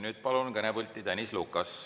Nüüd palun kõnepulti Tõnis Lukase.